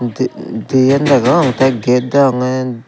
ti dien degong te gate deongey.